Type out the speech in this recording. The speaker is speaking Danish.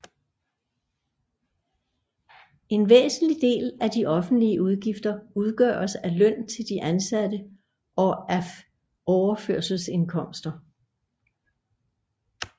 En væsentlig del af de offentlige udgifter udgøres af løn til de ansatte og af overførselsindkomster